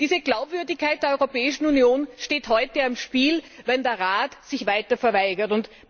Diese Glaubwürdigkeit der Europäischen Union steht heute auf dem Spiel, wenn der Rat sich weiter verweigert.